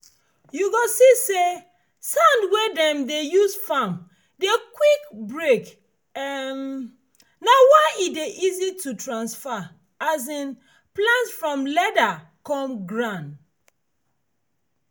you go see say sand wey dem dey use farm dey quick break um na why e dey easy to transfer um plant from leather come ground.